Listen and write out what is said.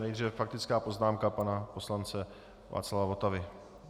Nejdříve faktická poznámka pana poslance Václava Votavy.